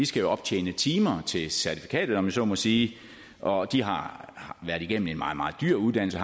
skal optjene timer til certifikatet om jeg så må sige og de har været igennem en meget meget dyr uddannelse